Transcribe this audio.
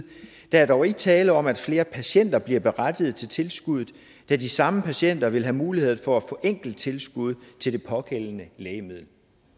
der er dog ikke tale om at flere patienter bliver berettiget til tilskuddet da de samme patienter ville have mulighed for at få enkelttilskud til det pågældende lægemiddel